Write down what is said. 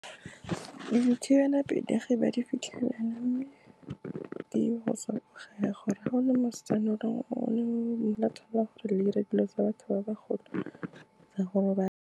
Dithibelapelegi ba di fitlhelana, mme gore ga gona mosetsana o leng gore la itshola gore le dire dilo tsa batho ba bagolo tsa go robala.